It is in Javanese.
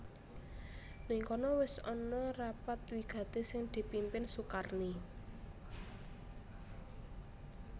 Nèng kono wis ana rapat wigati sing dipimpin Sukarni